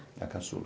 É a caçula.